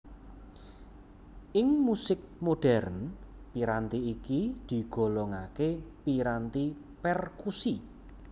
Ing musik modhèrn piranti iki digolongaké piranti perkusi